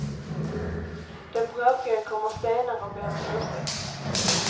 Den bråkige kommer senare och ber om ursäkt.